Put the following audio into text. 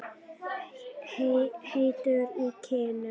Heitur í kinnum.